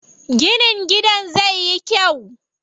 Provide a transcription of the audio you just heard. Ginin gidan zai yi kyau.